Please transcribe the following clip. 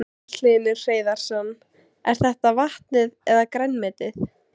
Magnús Hlynur Hreiðarsson: Er þetta vatnið eða grænmetið?